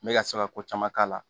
N bɛ ka se ka ko caman k'a la